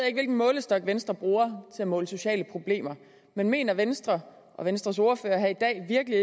ikke hvilken målestok venstre bruger til at måle sociale problemer men mener venstre og venstres ordfører her i dag virkelig